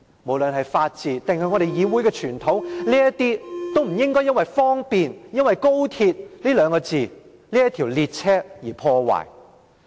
無論是法治，還是議會的傳統，都不應因為"方便"，因為高鐵這列車，而遭到破壞。